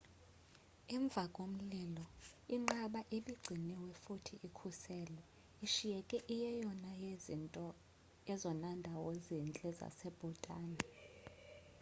emvakomlilo inqaba ibigciniwe futhi ikhuselwe ishiyeka njengenye yezona ndawo zintle zase-bhutan